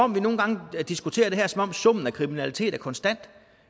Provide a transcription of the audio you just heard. nogle gange diskuterer det her som om summen af kriminalitet er konstant